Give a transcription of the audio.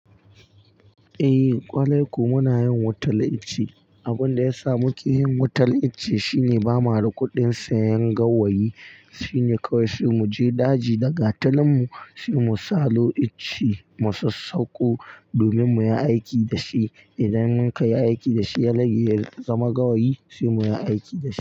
Eh kwarai ko muna yin wutar ice. Abin da ya sa muke yin wutar ice shine ba ma da kuɗin sayen gawayi. Shi ne kawai sai mu je daji da gatalin mu, sai mu salo icce mu sassauko domin mu yi aiki da shi. Idan mun kai yi aiki da shi ya rage, ya zama gawayi sai mu yi aiki da shi.